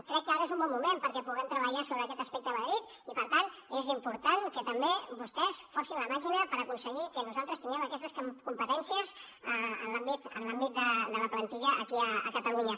crec que ara és un bon moment perquè puguem treballar sobre aquest aspecte a madrid i per tant és important que tam bé vostès forcin la màquina per aconseguir que nosaltres tinguem aquestes competències en l’àmbit de la plantilla aquí a catalunya